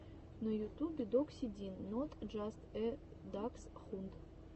на ютубе докси дин нот джаст э даксхунд